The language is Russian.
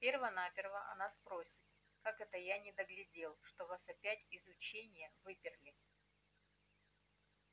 перво-наперво она спросит как это я недоглядел что вас опять из ученья выперли